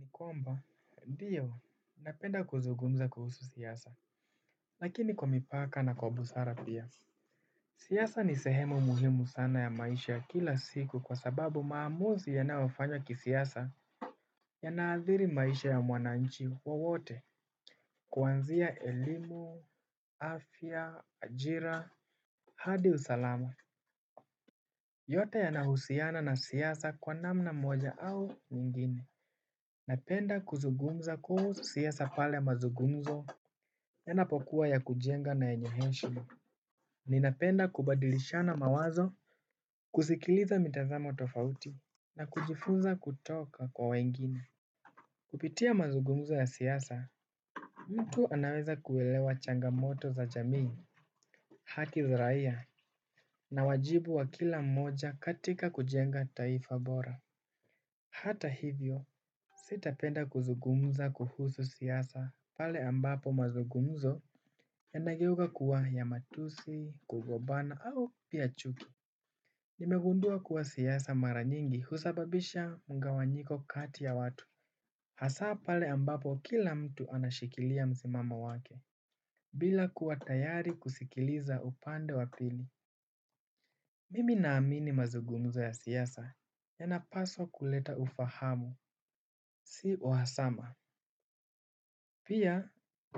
Nikomba, ndio, napenda kuzugumza kuhusu siyasa, lakini kwa mipaka na kwa busara pia. Siyasa ni sehemu muhimu sana ya maisha kila siku kwa sababu maamuzi yanaofanywa kisiyasa yanaathiri maisha ya mwananchi wo wote kuanzia elimu, afya, ajira, hadi usalama. Yote yanahusiana na siyasa kwa namna moja au nyingine. Napenda kuzungumza kuhusu siyasa pale mazugumzo enapokuwa ya kujenga na enye heshima. Ninapenda kubadilishana mawazo. Kusikiliza mitazamo tofauti na kujifunza kutoka kwa wengine. Kupitia mazugumzo ya siyasa mtu anaweza kuwelewa changamoto za jamii haki za raia na wajibu wa kila mmoja katika kujenga taifa bora. Hata hivyo sitapenda kuzugumza kuhusu siyasa pale ambapo mazugumzo ya nageuga kuwa ya matusi, kugobana au pia chuki. Nimegundua kuwa siyasa mara nyingi husababisha migawanyiko kati ya watu hasaa pale ambapo kila mtu anashikilia mzimamo wake bila kuwa tayari kusikiliza upande wapili. Mimi naamini mazugumzo ya siyasa yanapaswa kuleta ufahamu si uhawasama. Pia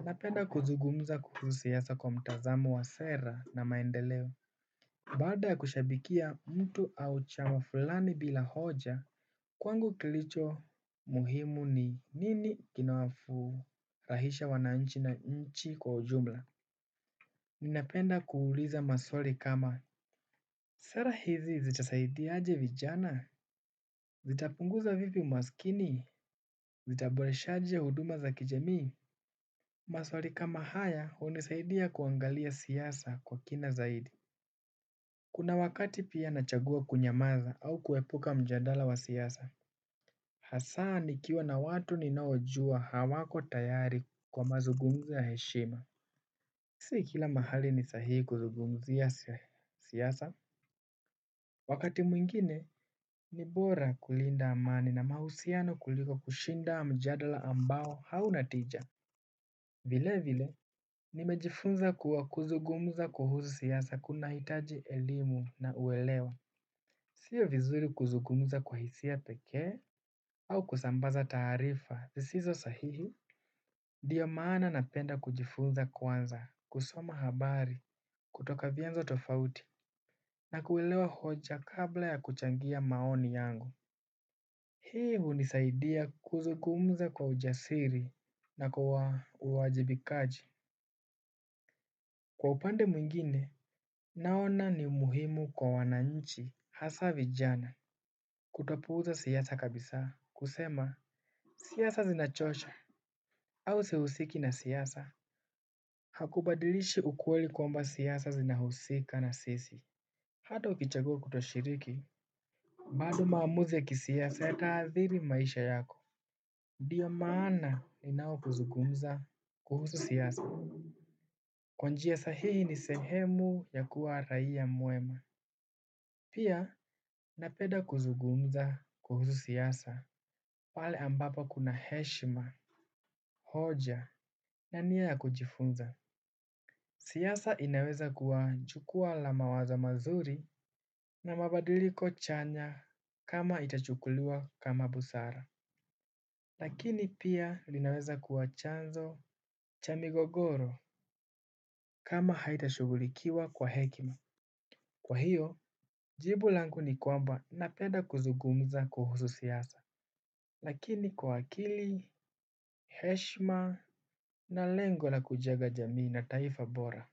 napenda kuzugumza kuhusu siyasa kwa mtazamo wa sera na maendeleo bada ya kushabikia mtu au chama fulani bila hoja. Kwangu kilicho muhimu ni nini kinawafu rahisha wananchi na nchi kwa ujumla. Ninapenda kuuliza maswali kama sera hizi zitasaidia aje vijana zitapunguza vipi umaskini zitaboresha aje huduma za kijamii. Maswari kama haya unisaidia kuangalia siyasa kwa kina zaidi. Kuna wakati pia nachagua kunyamaza au kuepuka mjadala wa siyasa hasani nikiwa na watu ninaojua hawako tayari kwa mazugumzo ya heshima. Si kila mahali ni sahi kuzugumzi ya siyasa wakati mwingine ni bora kulinda amani na mahusiano kuliko kushinda mjadala ambao hauna tija. Vile vile, nimejifunza kuwa kuzugumuza kuhuzu siyasa kuna hitaji elimu na uelewa. Sio vizuri kuzugumuza kwa hisia peke au kusambaza tarifa, zisizo sahihi ndiiyo maana napenda kujifunza kwanza, kusoma habari, kutoka vianzo tofauti, na kuwelewa hoja kabla ya kuchangia maoni yangu. Hii unisaidia kuzugumuza kwa ujasiri na kwa uwajibikaji. Kwa upande mwingine naona ni umuhimu kwa wananchi hasa vijana kutopuuza siyasa kabisa kusema siaya zinachosha au sihusiki na siyasa. Hakubadilishi ukueli kwamba siyasa zinahusika na sisi. Hato kichagua kutoshiriki bado maamuzi ya kisiyasa yataadhiri maisha yako. Ndiyo maana inao kuzugumza kuhusu siyasa. Kwanjia sahihi ni sehemu ya kuwa raia muema pia napenda kuzungumza kuhusu siyasa pale ambapo kuna heshima hoja na nia ya kujifunza. Siyasa inaweza kuwa chukua la mawazo mazuri na mabadiliko chanya kama itachukuliwa kama busara. Lakini pia linaweza kuwa chanzo chamigogoro kama haitashugulikiwa kwa hekima. Kwa hivyo, jibu langu ni kwamba napenda kuzungumza kuhusu siasa, lakini kwa akili, heshima na lengo la kujenga jamii na taifa bora.